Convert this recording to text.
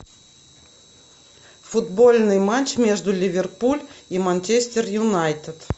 футбольный матч между ливерпуль и манчестер юнайтед